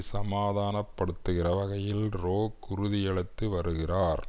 சமாதானப்படுத்துகிற வகையில் ரோக் உறுதியளித்து வருகிறார்